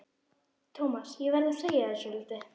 Thomas, ég verð að segja þér svolítið.